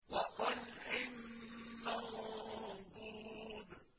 وَطَلْحٍ مَّنضُودٍ